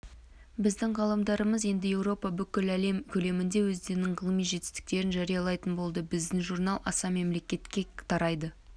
біздің ғалымдарымыз енді еуропа бүкіләлем көлемінде өздерінің ғылыми жетістерін жариялайтын болады біздің журнал аса мемлекетке тарайды